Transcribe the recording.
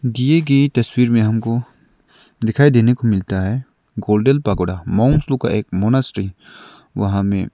दिए गई तस्वीर में हमको दिखाई देने को मिलता है गोल्डन पगोड़ा माउंट टू का एक मॉनेस्ट्री वहां में--